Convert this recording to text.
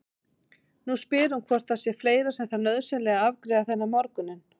Nú spyr hún hvort það sé fleira sem þarf nauðsynlega að afgreiða þennan morguninn.